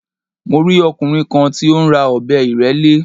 Mo rí ọkùnrin kan tí ó ń ra ọ̀bẹ ìrẹ́lé